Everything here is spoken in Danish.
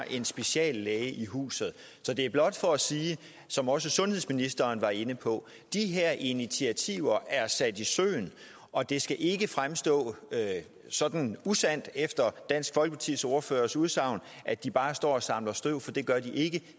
en speciallæge i huset det er blot for at sige som også sundhedsministeren var inde på de her initiativer er sat i søen og det skal ikke fremstå sådan usandt efter dansk folkepartis ordførers udsagn at de bare står og samler støv for det gør de ikke